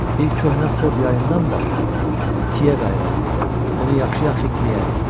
Bir köhnə Ford yayından da tiyə qayırarıq, onu yaxşı-yaxşı itiləyərik.